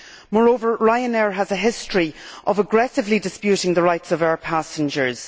Moreover, Ryanair has a history of aggressively disputing the rights of air passengers.